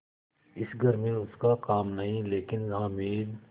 इस घर में उसका काम नहीं लेकिन हामिद